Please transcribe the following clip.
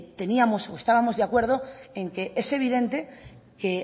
teníamos o estábamos de acuerdo en que es evidente que